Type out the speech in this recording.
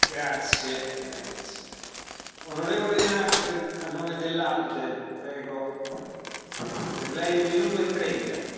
Señor presidente, por favor, no mezclemos conceptos legítimos qué es legítima defensa, qué significa una industria de defensa activa